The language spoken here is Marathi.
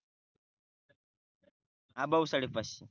अबव्ह साडे पाचशे